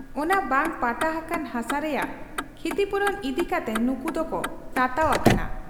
ᱚᱱᱟ ᱵᱟᱝ ᱯᱟᱴᱟ ᱦᱟᱠᱟᱱ ᱦᱟᱥᱟ ᱨᱮᱭᱟᱝ ᱠᱷᱤᱛᱤᱯᱩᱨᱚᱱ ᱤᱫᱤ ᱠᱟᱛᱮ ᱱᱩᱠᱩᱫᱚ ᱠᱚ ᱛᱟᱛᱟᱣ ᱟᱠᱟᱱᱟ ᱾